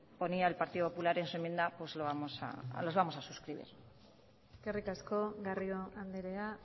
ponía el partido popular en su enmienda los vamos a suscribir eskerrik asko garrido andrea